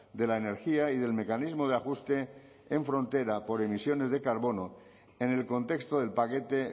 de la energía y del mecanismo de ajuste en frontera por emisiones de carbono en el contexto del paquete